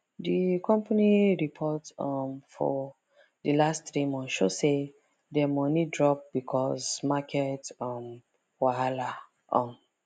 d company report um for d last three months show say dem money drop because market um wahala um